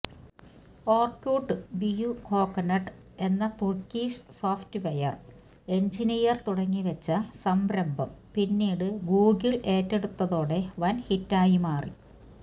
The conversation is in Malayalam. ഓര്കുട്ട് ബുയുകോക്ടെന് എന്ന തുര്ക്കിഷ് സോഫ്റ്റ്വെയര് എഞ്ചിനീയര് തുടങ്ങിവെച്ച സംരംഭം പിന്നീട് ഗൂഗിള് ഏറ്റെടുത്തതോടെ വന് ഹിറ്റായി മാറി